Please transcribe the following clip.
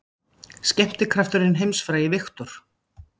Skemmtikrafturinn heimsfrægi, Victor